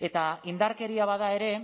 eta indarkeria bada ere